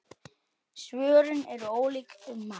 Svörin eru ólík um margt.